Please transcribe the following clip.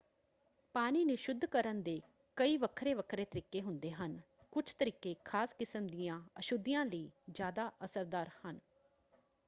ਪਾਣੀ ਨੂੰ ਸ਼ੁੱਧ ਕਰਨ ਦੇ ਕਈ ਵੱਖਰੇ-ਵੱਖਰੇ ਤਰੀਕੇ ਹੁੰਦੇ ਹਨ ਕੁਝ ਤਰੀਕੇ ਖ਼ਾਸ ਕਿਸਮ ਦੀਆਂ ਅਸ਼ੁੱਧੀਆਂ ਲਈ ਜ਼ਿਆਦਾ ਅਸਰਦਾਰ ਹਨ।